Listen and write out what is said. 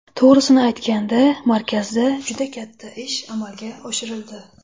To‘g‘risini aytganda, markazda juda katta ish amalga oshirildi.